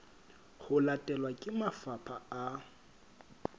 ho latelwa ke mafapha a